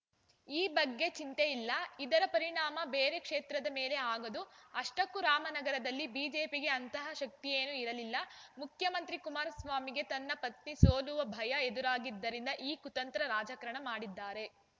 ಈ ಬಗ್ಗೆ ಚಿಂತೆಯಿಲ್ಲ ಇದರ ಪರಿಣಾಮ ಬೇರೆ ಕ್ಷೇತ್ರದ ಮೇಲೆ ಆಗದು ಅಷ್ಟಕ್ಕೂ ರಾಮನಗರದಲ್ಲಿ ಬಿಜೆಪಿಗೆ ಅಂತಹ ಶಕ್ತಿಯೇನೂ ಇರಲಿಲ್ಲ ಮುಖ್ಯಮಂತ್ರಿ ಕುಮಾರಸ್ವಾಮಿಗೆ ತಮ್ಮ ಪತ್ನಿ ಸೋಲುವ ಭಯ ಎದುರಾಗಿದ್ದರಿಂದ ಈ ಕುತಂತ್ರ ರಾಜಕಾರಣ ಮಾಡಿದ್ದಾರೆ